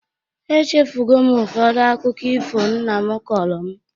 Echefugo m ụfọdụ akụkọ ifo nna m kọrọ m